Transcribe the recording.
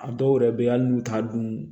A dɔw yɛrɛ bɛ ye hali n'u t'a dun